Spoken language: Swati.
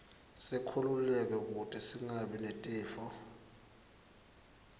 sikhululeke kute singabi netifo